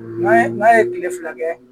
N'a ye n'a ye kile fila kɛ